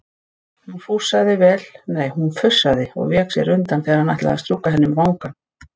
Hún fussaði og vék sér undan þegar hann ætlaði að strjúka henni um vangann.